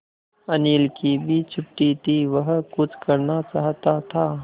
अनिल की भी छुट्टी थी वह कुछ करना चाहता था